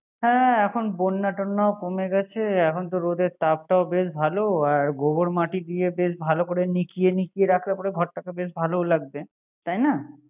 হ্যা এখন বন্যা টন্যাও কমে গেছে এখন রোধের তাপটাওে বেশ ভালো। আর গোবর মাটি দিয়ে বেশ ভালো মিশিয়ে মিশিয়ে রাখলে পরে ঘরটা বেশ ভালো লাগবে।